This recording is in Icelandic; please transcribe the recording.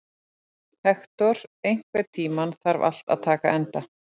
Hektor, einhvern tímann þarf allt að taka enda.